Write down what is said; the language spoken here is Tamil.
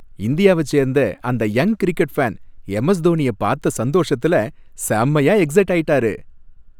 இந்தியாவ சேர்ந்த அந்த யங் கிரிக்கெட் ஃபேன், எம்.எஸ். தோனியைப் பாத்த சந்தோஷத்துல செம்மைய எக்சைட் ஆயிட்டாரு.